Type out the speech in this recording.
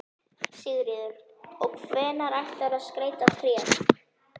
Sigríður: Og hvenær ætlarðu að skreyta tréð?